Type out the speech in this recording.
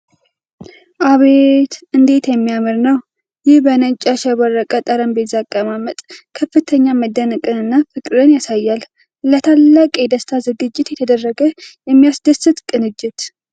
አቤት እንዴት የሚያምር ነው ! ይህ በነጭ ያሸበረቀ ጠረጴዛ አቀማመጥ ከፍተኛ መደነቅንና ፍቅርን ያሳያል። ለታላቅ የደስታ ዝግጅት የተደረገ የሚያስደስት ቅንጅት!